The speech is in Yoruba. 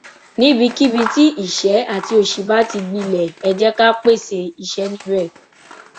níbikíbi tí ìṣẹ àti òṣì bá ti gbilẹ ẹ jẹ ká pèsè iṣẹ níbẹ